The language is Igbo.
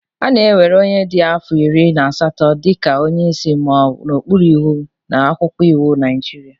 A na-ewere onye dị afọ iri na asatọ dị ka onye isi ma ọ nọ n'okpuru iwu na akwụkwọ iwu Naijiria